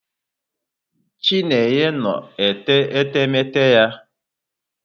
Chinenye nnọ na-ete etemeete ya.